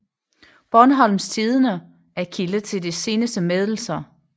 Bornholms Tidende er kilde til de seneste meddelelser